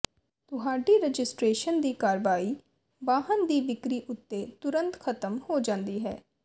ਤੁਹਾਡੀ ਰਜਿਸਟਰੇਸ਼ਨ ਦੀ ਕਾਰਵਾਈ ਵਾਹਨ ਦੀ ਵਿਕਰੀ ਉੱਤੇ ਤੁਰੰਤ ਖ਼ਤਮ ਹੋ ਜਾਂਦੀ ਹੈ